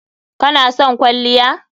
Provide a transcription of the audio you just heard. Kana son kwalliya?